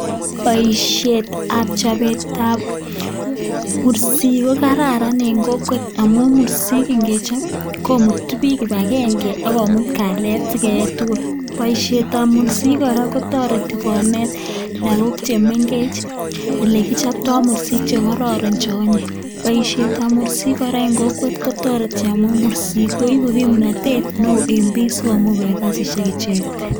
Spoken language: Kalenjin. Boishetab chobetab mursik ko kararan en kokwet amun mursik ingechob ii: komutu biik kibangenge, ak komut kalyet si keyei tugul. Boishetab mursik kora ko toreti konet lagok che mengech ele kichobto mursik che kororon che onyiny. Boishetab mursik kora en kokwet kotoreti amun mursik koibu kimnatet neo en bik asi komuch koyai kasishek icheget.